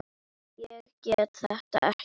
Ég get þetta ekki.